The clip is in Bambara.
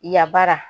Yabara